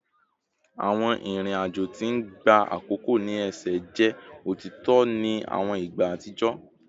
Awọn irin ajo ti n gba akoko ni ẹsẹ jẹ otitọ ni awọn igba atijọ